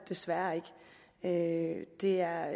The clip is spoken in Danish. desværre ikke det er